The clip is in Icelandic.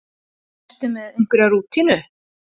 Ertu með einhverja rútínu?